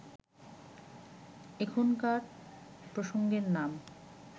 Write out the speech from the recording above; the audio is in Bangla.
এখনকার প্রসঙ্গের নাম